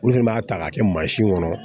Olu fɛnɛ b'a ta k'a kɛ mansin kɔnɔ